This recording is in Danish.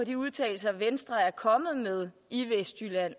de udtalelser venstre er kommet med i vestjylland